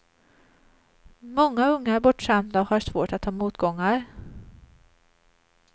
Många unga är bortskämda och har svårt att ta motgångar.